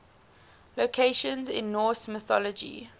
locations in norse mythology